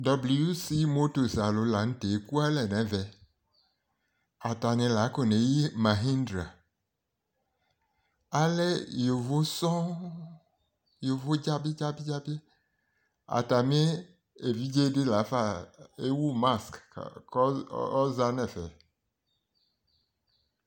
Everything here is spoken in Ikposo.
WC motos alo lantɛ eku alɛ no ɛvɛ atani la akɔne yi mahindra alɛ yovo sɔŋ yovo dzabi dzabi dzabi atami evidze di lafa ewu mask ko ɔza no ɛfɛ